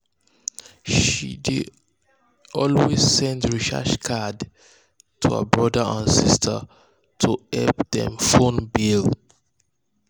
she dey always send recharge card to her brothers um and sisters to help dem um phone um bill.